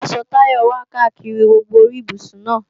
Àwọn aṣọ Táyọ wà káàkiri gbogbo orí ibùsùn náà